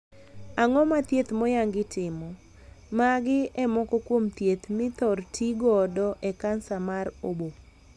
Ango ma thieth moyangi timo. Magi e moko kuom thieth mithor tii godo e kansa mar oboo.